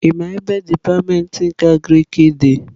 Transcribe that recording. Ị maa ebe dipatịmentị nke Agriki dị?